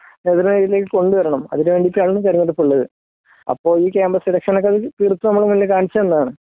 നേതൃ നിരയിലേക്ക് കൊണ്ടുവരണം അതിനു വേണ്ടിയിട്ടാണ് തിരഞ്ഞെടുപ്പ് ഉള്ളത് അപ്പോ ഈ കാമ്പസ് എലക്ഷൻ ഒക്കെ തീരത്തും നമ്മുടെ മുന്നിൽ കാണിച്ചു തന്നതാണു